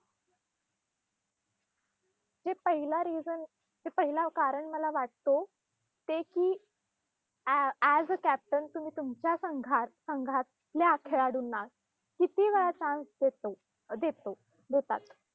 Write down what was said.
हे पहिला reason, पहिला कारण मला वाटतो, ते की अँ अँ as a captain तुम्ही तुमच्या संघात संघातल्या खेळाडूंना, किती वेळा chance देतो अं देतो देतात.